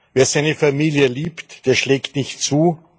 Wer seine Familie liebt, der schlägt nicht zu.